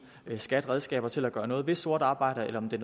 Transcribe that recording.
skat redskaber til at gøre noget ved sort arbejde eller om det